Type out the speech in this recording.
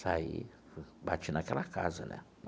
Saí, bati naquela casa, né?